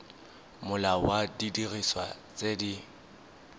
molao wa didiriswa tse di